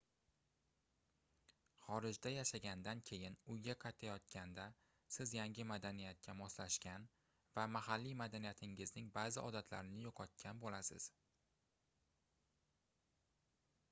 xorijda yashagandan keyin uyga qaytayotganda siz yangi madaniyatga moslashgan va mahalliy madaniyatingizning baʼzi odatlarini yoʻqotgan boʻlasiz